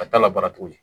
A t'a la bara tuguni